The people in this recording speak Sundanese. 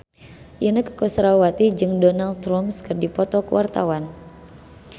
Inneke Koesherawati jeung Donald Trump keur dipoto ku wartawan